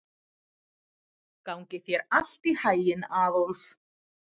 Gangi þér allt í haginn, Aðólf.